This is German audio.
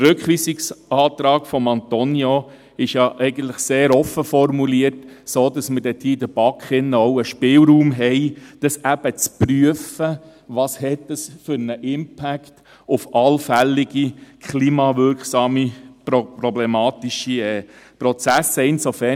Der Rückweisungsantrag von Antonio Bauen ist eigentlich sehr offen formuliert, sodass wir damit in der BaK einen Spielraum haben, zu prüfen, was es für einen Impact auf allfällige klimawirksame, problematische Prozesse hat.